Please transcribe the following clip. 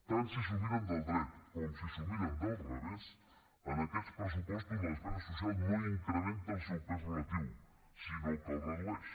tant si s’ho miren del dret com si s’ho miren del revés en aquests pressupostos la despesa social no incrementa el seu pes relatiu sinó que el redueix